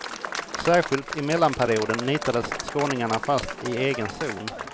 Särskilt i mellanperioden nitades skåningarna fast i egen zon.